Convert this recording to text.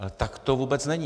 Ale tak to vůbec není.